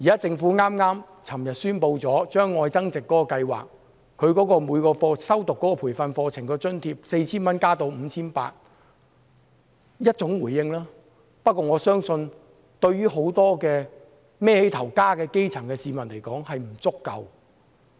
政府昨天宣布把"特別.愛增值"計劃提供予每名修讀培訓課程學員的津貼由 4,000 元增加至 5,800 元，這是一種回應，不過我相信，對於很多養家的基層市民來說是不足夠的。